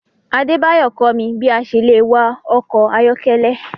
Adebayo kọ mi bi a ṣe le wạ ọkọ ayọkẹlẹ